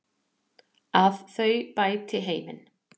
Að þau bæti heiminn.